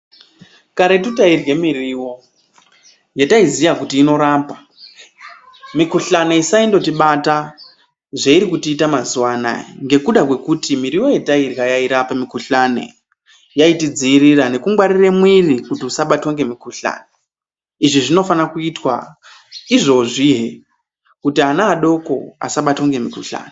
Karetu tairye miriwo yetaiziya kuti inorapa, mikhuhlani isaindotibata zveirikutiita mazuwa anaya ngekuda kwekuti miriwo yetairya yairapa mikhuhlane yyaitidziirira nekungwarire mwiri kuti usabatwa ngemukhuhlani . Izvi zvinofana kuitwa izvozvihe kuti ana adoko asabatwa ngemukhuhlane.